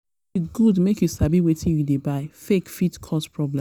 e good make you sabi wetin you dey buy; fake fit fit cause problem.